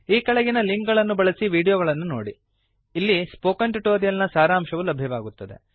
ಈ ಕೆಳಗಿನ ಲಿಂಕ್ ಗಳನ್ನು ಬಳಸಿ ವೀಡಿಯೋಗಳನ್ನು ನೋಡಿ ಅಲ್ಲಿ ಸ್ಪೋಕನ್ ಟ್ಯುಟೋರಿಯಲ್ ನ ಸಾರಾಂಶವು ಲಭ್ಯವಾಗುತ್ತದೆ